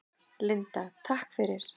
Linda: Takk fyrir.